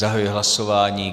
Zahajuji hlasování.